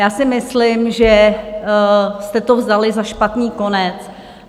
Já si myslím, že jste to vzali za špatný konec.